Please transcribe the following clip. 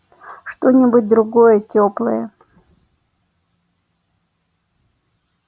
что-нибудь другое тёплое